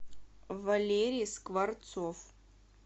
валерий скворцов